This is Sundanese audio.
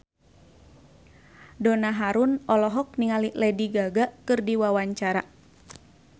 Donna Harun olohok ningali Lady Gaga keur diwawancara